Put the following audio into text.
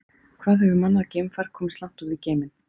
Hvað hefur mannað geimfar komist langt út í geiminn?